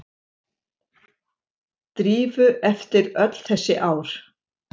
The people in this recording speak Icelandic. Drífu eftir öll þessi ár.